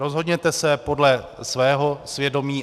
Rozhodněte se podle svého svědomí.